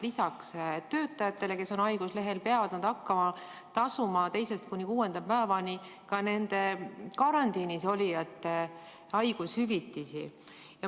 Lisaks töötajatele, kes on haiguslehel, peavad nad hakkama tasuma teisest kuni kuuenda päevani ka karantiinis olijate haigushüvitist.